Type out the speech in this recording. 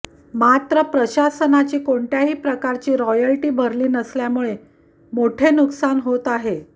मात्र प्रशासनाची कोणत्याही प्रकारची रॉयल्टी भरली नसल्यामुळे मोठे नुकसान होत आहे